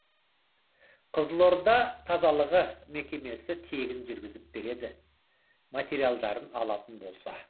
қызылорда тазалығы мекемесі тегін жүргізіп береді материалдарын алатын болса